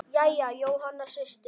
Jæja, Jóhanna systir.